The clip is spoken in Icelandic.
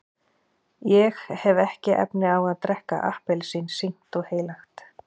ég hef ekki efni á að drekka appelsín sýknt og heilagt.